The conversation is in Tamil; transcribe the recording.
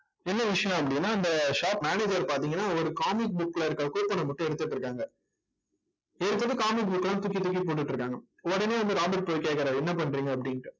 என்ன விஷயம் அப்படின்னா அந்த shop manager பார்த்தீங்கன்னா ஒரு comic book ல இருக்கிற coupon அ மட்டும் எடுத்துட்டு இருக்காங்க. எடுத்துட்டு comic book அ எல்லாம் தூக்கி தூக்கி போட்டுட்டு இருக்காங்க உடனே வந்து ராபர்ட் போய் கேட்கிறாரு என்ன பண்றீங்க அப்படின்னுட்டு